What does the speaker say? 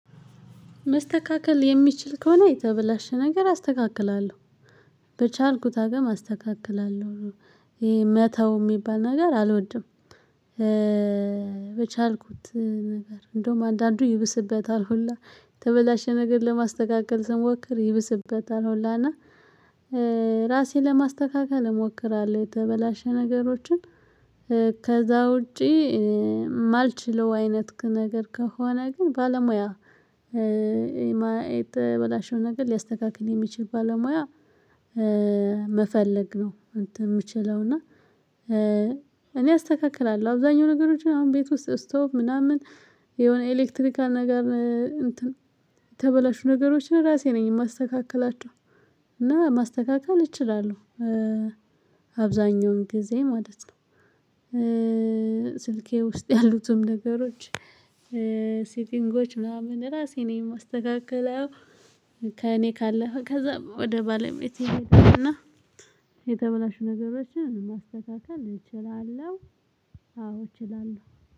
መስተካከል የሚችል ከሆነ የተበላሸ ነገር አስተካክላለሁ በቻልኩት አቅም አስተካክላለሁ መተው የሚባል ነገር አልወድም። በቻልኩት ነገር እንደውም አንዳንዱ ይብስበታል ሁላ ተበላሸ ነገር ለማስተካከል ስሞክር ይብስበታል ሁላ እና ራሴን ለማስተካከል እሞክራለሁ የተበላሸ ነገሮችን። ከዛ ውጪ የማልችለው አይነት ነገር ከሆነ ግን ባለሙያ የተበላሸውን ነገር ሊያስተካክል የሚችል ባለሙያ መፈለግ ነው። የምችለው እና እኔ አስተካክላለሁ አብዛኛው ነገሮችን አሁን ቤት ውስጥ ስቶፕ ምናምን የሆነ ኤሌክትሪካል ነገር። እንትን የተበላሹ ነገሮችን ራሴ ነኝ የማስተካክላቸው እና ማስተካከል እችላለሁ። አብዛኛውን ጊዜ ማለት ነው። ስልኬ ውስጥ ያሉትም ነገሮች ሴቲንጎች ምናምን ራሴ ነኝ የማስተካክለው። ከእኔ ካለፈ ከዛ ወደ ባለቤቴ እና የተበላሹ ነገሮችን ማስተካከል እችላለሁ አዎ እችላለሁ።